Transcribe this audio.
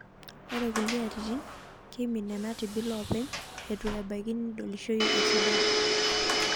Ore kulie atitin, keimin nena tibil oopeny eitu ebaki nidolishoi esidai.